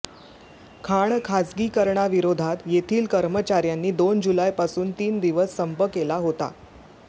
खाण खासगीकरणाविरोधात येथील कर्मचाऱ्यांनी दोन जुलैपासून तीन दिवस संप केला होता